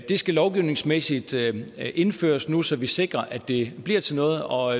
det skal lovgivningsmæssigt indføres nu så vi sikrer at det bliver til noget og